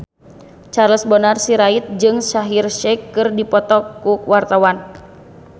Charles Bonar Sirait jeung Shaheer Sheikh keur dipoto ku wartawan